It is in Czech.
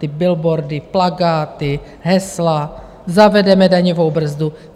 Ty billboardy, plakáty, hesla: Zavedeme daňovou brzdu.